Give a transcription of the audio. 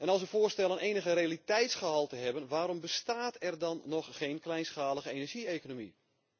Als uw voorstellen enig realiteitsgehalte hebben, waarom bestaat er dan nog geen kleinschalige energie economie?